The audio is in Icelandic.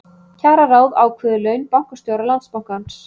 Kjararáð ákveður laun bankastjóra Landsbankans